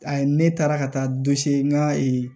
A ye ne taara ka taa n ga